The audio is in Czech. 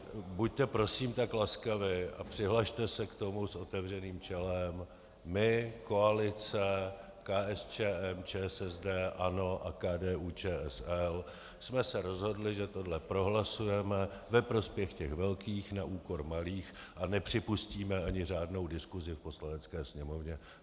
Buďte prosím tak laskavi a přihlaste se k tomu s otevřeným čelem - my, koalice, KSČM, ČSSD, ANO a KDU-ČSL, jsme se rozhodli, že tohle prohlasujeme ve prospěch těch velkých na úkor malých a nepřipustíme ani řádnou diskusi v Poslanecké sněmovně.